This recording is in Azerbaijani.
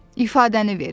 İfadəni ver.